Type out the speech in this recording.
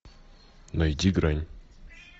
найди грань